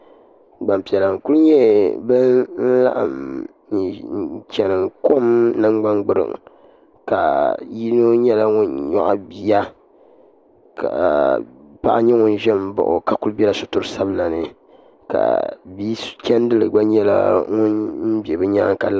Gbampiɛla n-kuli nyɛ ban laɣim chani kom nangbangbiriŋ ka yino nyɛla ŋun nyɔɣi bia ka paɣa nyɛ ŋun ʒe m-baɣi o ka kuli bela sitiri sabila ni ka bi'chandili gba nyɛla ŋun za bɛ nyaaŋa.